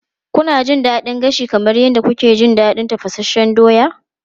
Kuna jin daɗin gashi kamar yadda kuke jin daɗin tafasasshen doya?